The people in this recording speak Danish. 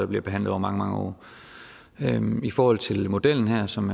bliver behandlet over mange mange år i forhold til modellen her som